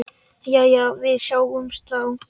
Jæja, við sjáumst þá.